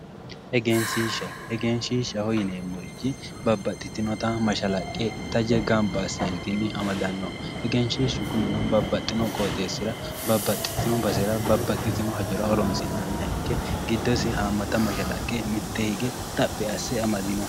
egenshshisha egenshshishsha yineemohu babbaxitinnota mashshalaqe taje gamba asseentinni amadanno egenshshishshu kunino mittu qooxeessira babbaxxittinno basera babbaxitino hajora horoonsi'nanniha ikke giddosi haammata mashshalaqe giddose xaphi asse amadanno